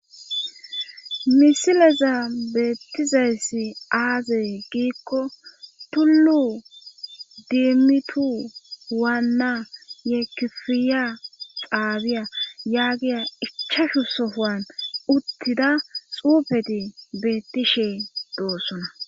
misileza beettizayssi aaze giikko tullu demmitu waanna ye kifiya xaabiya yaa giya ichashu sohaan uttida xuufeti beettishee doossona